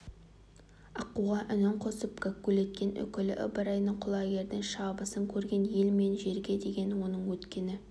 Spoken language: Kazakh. аққуға үнін қосып гәккулеткен үкілі ыбырайдың құлагердің шабысын көрген ел мен жерге деген оның өткені